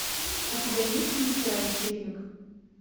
у тебя есть мастера вечеринок